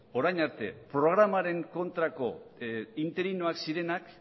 orain arte programaren kontrako interinoak zirenak